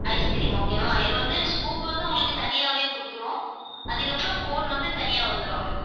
ice cream okay வா? இது வந்து scoop வந்து உங்களுக்கு தனியாவே குடுத்துருவோம். அதுக்கப்புறம் cone வந்து தனியா வந்துரும்